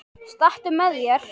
Stattu með þér.